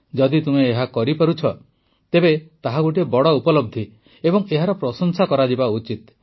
ଯଦି ତୁମେ ଏହା କରିପାରୁଛ ତେବେ ତାହା ଗୋଟିଏ ବଡ଼ ଉପଲବ୍ଧି ଏବଂ ଏହାର ପ୍ରଶଂସା କରାଯିବା ଉଚିତ